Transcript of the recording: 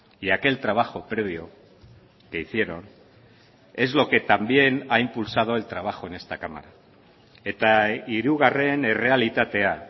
y aquel trabajo previo que hicieron es lo que también ha impulsado el trabajo en esta cámara eta hirugarren errealitatea